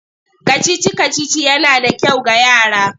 Kacici-kacici yana da kyau ga yara.